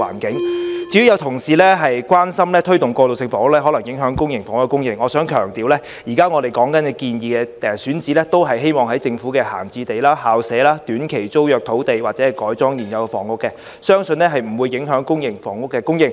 至於有同事關注推動過渡性房屋可能影響公營房屋的供應，我想強調，我們現時建議的選址，都是政府的閒置用地、校舍、短期租約土地，或是由改裝現有房屋而來，相信不會影響公營房屋的供應。